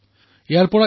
ইয়াক ৰিচাইকল কৰক